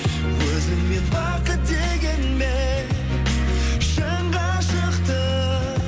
өзіңмен бақыт дегенмен шын ғашықты